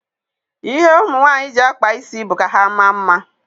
Ihe ụmụ nwaanyị ji akpa isi wụ ka ha maa mma.